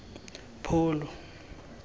pholo